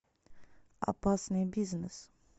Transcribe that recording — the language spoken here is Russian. опасный бизнес